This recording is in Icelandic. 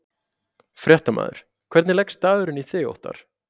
Fréttamaður: Hvernig leggst dagurinn í þig Óttarr?